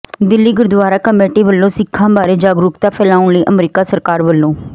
Delhi gurdwara committee ਵੱਲੋਂ ਸਿੱਖਾਂ ਬਾਰੇ ਜਾਗਰੂਕਤਾ ਫੈਲਾਉਣ ਲਈ ਅਮਰੀਕਾ ਸਰਕਾਰ ਵੱਲੋਂ